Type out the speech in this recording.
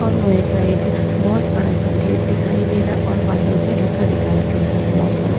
और लोहे का एक बोहोत बड़ा सा गेट दिखाई दे रहा है और बादल से ढका दिखाई दे रहा है मौसम।